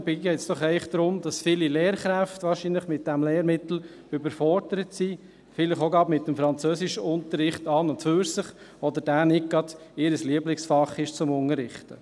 Dabei geht es doch eigentlich darum, dass wahrscheinlich viele Lehrkräfte mit diesem Lehrmittel überfordert sind, vielleicht auch gerade mit dem Französischunterricht an und für sich, oder es nicht gerade das Lieblingsfach ist, das sie unterrichten.